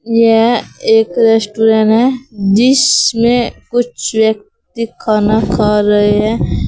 यह एक रेस्टोरेंट है जिसमें कुछ व्यक्ति खाना खा रहे हैं।